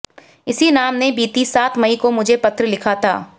इसी नाम ने बीती सात मई को मुझे पत्र लिखा था